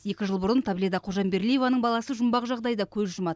екі жыл бұрын таблида қожамберлиеваның баласы жұмбақ жағдайда көз жұмады